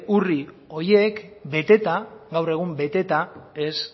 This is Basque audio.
urri horiek beteta gaur egun beteta ez